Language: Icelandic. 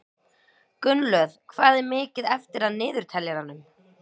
Gunnlöð, hvað er mikið eftir af niðurteljaranum?